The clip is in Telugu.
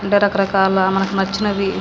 అంటే రకరకాల మనకు నచ్చినవి --